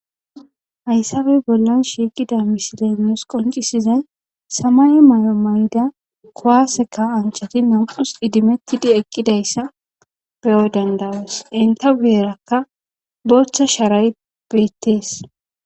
Hayssabe bollan shiiqida misilenes qoncisizay samay mayo mayda kowaseka anchati nam'us idimettidi eqqidayssa beyo dandawees enta guyerakka bochcha shaaray beettees.